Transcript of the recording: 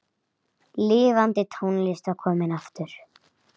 Lifandi tónlist var komin aftur.